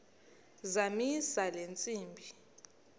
zamisa le ntsimbi